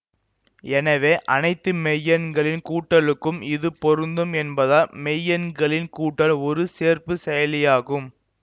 எனவே அனைத்து மெய்யெண்களின் கூட்டலுக்கும் இது பொருந்தும் என்பதால் மெய்யெண்களின் கூட்டல் ஒரு சேர்ப்புச் செயலியாகும்